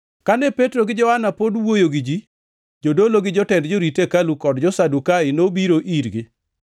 Kane Petro gi Johana pod wuoyo gi ji, jodolo gi jatend jorit hekalu kod jo-Sadukai nobiro irgi.